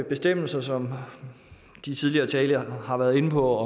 bestemmelser som de tidligere talere har været inde på